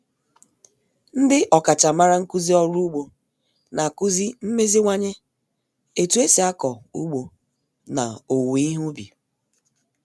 Ndị ọkachamara nkuzi orụ ugbo na-akuzi mmeziwanye etu esi ako ugbo na owuwe ihe ubi